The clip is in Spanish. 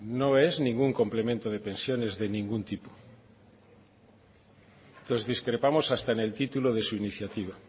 no es ningún complemento de pensiones de ningún tipo entonces discrepamos hasta en el título de su iniciativa